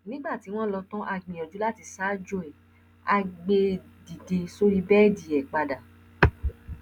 nígbà tí wọn lọ tán a gbìyànjú láti ṣaájò ẹ á gbé e dìde sórí bẹẹdì ẹ padà